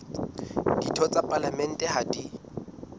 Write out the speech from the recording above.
ditho tsa palamente ha di